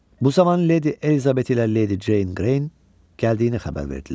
Bu zaman ledi Elizabet ilə ledi Jane Greyin gəldiyini xəbər verdilər.